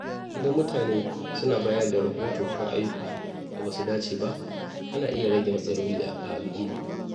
Idan mutane suna bayar da rahoto kan ayyukan da ba su dace ba, ana iya rage matsaloli a al’umma.